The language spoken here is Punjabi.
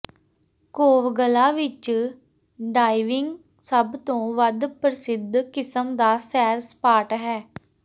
ਕੋਵਗਲਾ ਵਿਚ ਡਾਇਵਿੰਗ ਸਭ ਤੋਂ ਵੱਧ ਪ੍ਰਸਿੱਧ ਕਿਸਮ ਦਾ ਸੈਰ ਸਪਾਟ ਹੈ